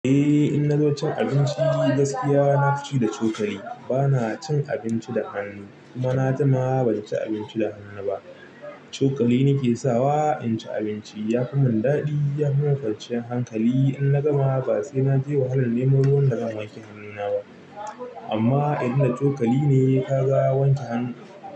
Eh, in na zo cin abinci gaskiya na fi ci da cokali. Ba na cin abinci da hannu, kuma na jima ban ci abinci da hannu ba. Cokali nake sawa in ci abinci ya yi mun daɗi, yafimun kwanciyar hankali. In na gama ba sai na je wahalar nemo ruwan da zan wanke hannuna ba. Amma inda cokali ne ka ga wanke hannu.